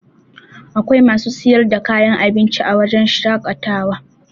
Akwai masu sayar da kayan abinci a wajen shaƙatawa